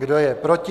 Kdo je proti?